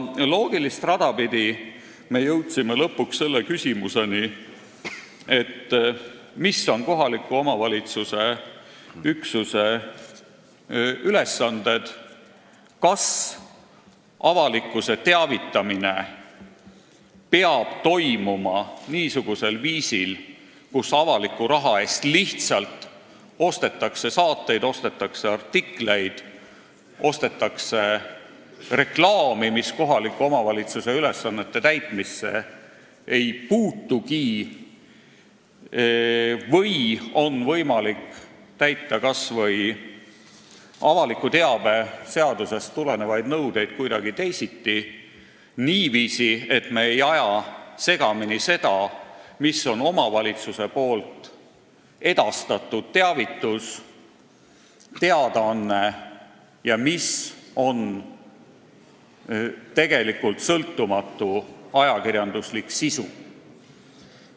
Loogilist rada pidi me jõudsime aga lõpuks selliste küsimusteni: mis on kohaliku omavalitsuse üksuse ülesanded, kas avalikkuse teavitamine peab toimuma niisugusel viisil, kus avaliku raha eest lihtsalt ostetakse saateid, ostetakse artikleid, ostetakse reklaami, mis kohaliku omavalitsuse ülesannete täitmisse ei puutugi, või on võimalik täita kas või avaliku teabe seadusest tulenevaid nõudeid kuidagi teisiti – niiviisi, et me ei aja segamini seda, mis on omavalitsuse edastatud teavitus, teadaanne ja mis on tegelikult sõltumatu ajakirjanduslik sisu.